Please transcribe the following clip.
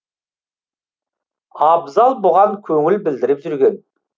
абзал бұған көңіл білдіріп жүрген